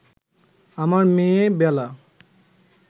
আমার মেয়ে বেলা